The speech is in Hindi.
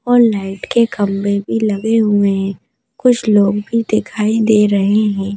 और लाइट के खंबे भी लगे हुए हैं कुछ लोग भी दिखाई दे रहे हैं।